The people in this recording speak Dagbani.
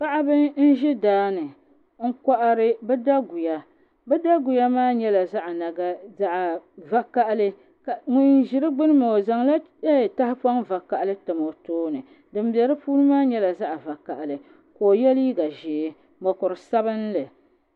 Paɣaba n ʒi daani n kohari bi daguya bi daguya maa nyɛla zaɣ vakaɣali ŋun ʒi di gbuni maa o zaŋla tahapoŋ vakaɣali tam o tooni din bɛ di puuni maa nyɛla zaɣ vakaɣali ka o yɛ liiga ʒiɛ ni mokuru sabinli